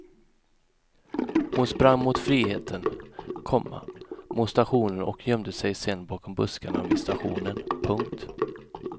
Hon sprang mot friheten, komma mot stationen och gömde sig sen bakom buskarna vid stationen. punkt